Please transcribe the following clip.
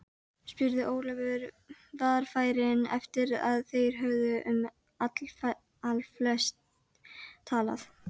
spurði Ólafur varfærinn eftir að þeir höfðu um allflest talað.